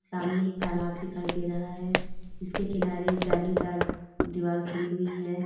सामने तालाब दिखाई दे रहा है इसके किनारे जालीदार दीवाल खड़ी हुई है।